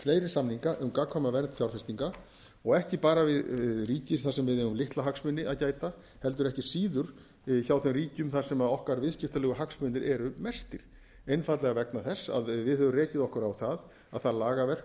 fleiri samning um gagnkvæma vernd fjárfestinga og ekki bara við ríki þar sem við eigum lítilla hagsmuna að gæta heldur ekki síður hjá þeim ríkjum þar sem okkar viðskiptalegu hagsmunir eru mestir einfaldlega vegna þess að við höfum rekið okkur á það að það lagaverk